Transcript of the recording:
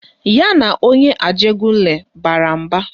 Ya na onye Ajegunle bara mba